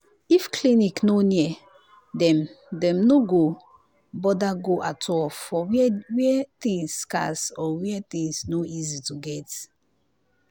if clinic no near dem dem no go bother go at all for where where things scarce or where things no easy to get